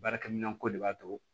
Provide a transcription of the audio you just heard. Baarakɛminɛn ko de b'a to